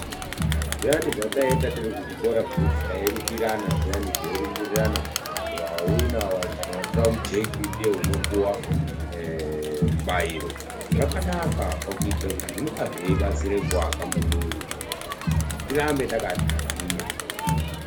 Zviyani zvataita tiri kuzvikora zviyani zvekuti tairumbirirana zviyani teirumbirirana wawina kana watora mujeki ndiye unopuwa mubairo zvakanaka pakuitira kuti zvinenge zveibatsira kuwaka muwiri mwedu tirambe takagwinya.